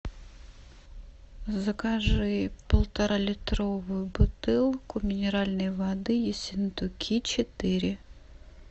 закажи полторалитровую бутылку минеральной воды ессентуки четыре